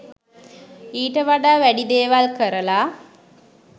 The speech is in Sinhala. ඊට වඩා වැඩි දේවල් කරල